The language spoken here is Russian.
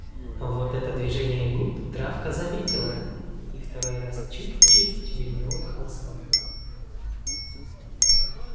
вот это движение губ травка заметила и второй раз чуть-чуть вильнула хвостом